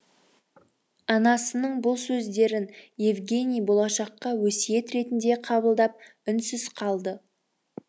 анасының бұл сөздерін евгений болашаққа өсиет ретінде қабылдап үнсіз қалды